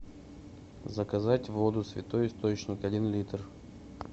заказать воду святой источник один литр